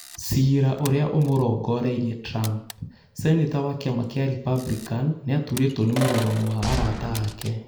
Ciira ũrĩa ũmũrongoreirie Trump: Seneta wa kĩama kĩa Republican nĩaturĩtwo nĩ mũrũgamo wa arata ake